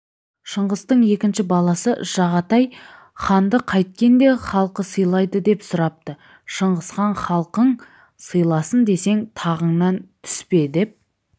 шыңғыстың екінші баласы жағатай ханды қайткенде халқы сыйлайды деп сұрапты шыңғысхан халқың сыйласын десең тағыңнан түспедеп